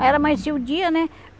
Aí ela amanhecia o dia, né?